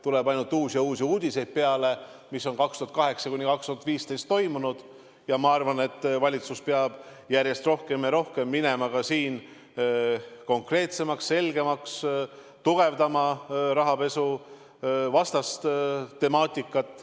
Tuleb peale aina uusi ja uusi uudiseid, mis on aastail 2008–2015 toimunud, ja ma arvan, et valitsus peab siin minema järjest rohkem ja rohkem konkreetsemaks, selgemaks, tugevdama rahapesuvastast temaatikat.